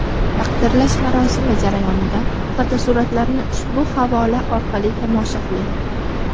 Taqdirlash marosimi jarayonidan fotosuratlarni ushbu havola orqali tomosha qiling.